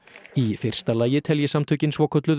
í fyrsta lagi telji samtökin svokölluð